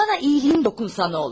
Mənə yaxşılığın toxunsa nə olar?